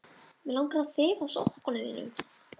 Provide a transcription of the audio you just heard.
Mig langar að þefa af sokkum þínum.